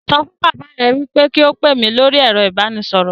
Sọ fún bàbá rẹ pé kí ó pè mí lórí ẹ̀rọ ìbánisọ̀rọ̀